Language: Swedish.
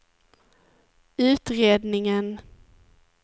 utredningen